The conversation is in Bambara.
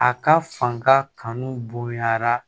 A ka fanga kanu bonɲara